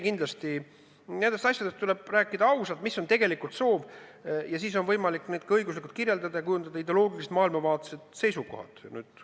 Kindlasti tuleb nendest asjadest rääkida ausalt, mis on tegelik soov, ning siis on võimalik neid ka õiguslikult kirjeldada ja kujundada ideoloogilised maailmavaatelised seisukohad.